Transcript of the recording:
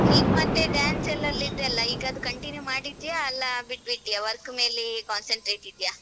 "ನಿನ್ ಮತ್ತೆ dance ಲ್ಲೆಲ್ಲ ಇದ್ಯಲ್ಲ ಈಗ ಅದು continue ಮಾಡಿದ್ಯಾ ಅಲ್ಲ